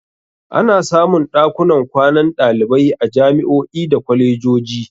Ana samun ɗakunan kwanan ɗalibai a jami'o'i da kwalejoji.